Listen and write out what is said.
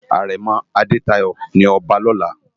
Arèmò Adetayo ni òbá lòlá